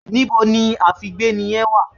Níbo ni àfígbéni yẹn wà?